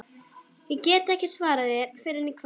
Ég get ekki svarað þér fyrr en í kvöld